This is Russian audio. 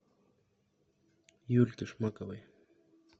юльке шмаковой